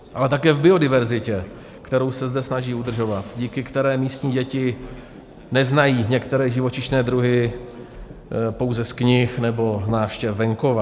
Ale také v biodiverzitě, kterou se zde snaží udržovat, díky které místní děti neznají některé živočišné druhy pouze z knih nebo návštěv venkova.